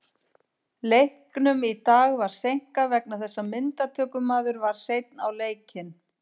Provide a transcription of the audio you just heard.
Leiknum í dag var seinkað vegna þess að myndatökumaður var seinn á leikinn.